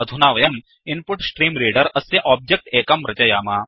अधुना वयं इन्पुट्स्ट्रीम्रेडर अस्य ओब्जेक्ट् एकं रचयाम